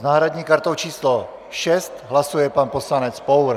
S náhradní kartou číslo 6 hlasuje pan poslanec Pour.